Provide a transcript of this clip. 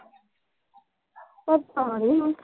ਪਤਾ ਨੀ।